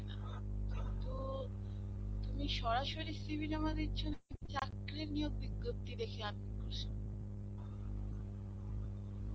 কিন্তু, তুমি সরাসরি CV জমা দিচ্ছ চাকরীর নিয়োগ বিজ্ঞপ্তি দেখে